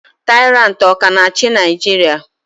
Taịrantị ọ ka na-achị Naijiria?